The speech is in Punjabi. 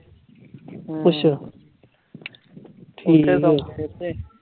ਅੱਛਾ, ਠੀਕ ਐ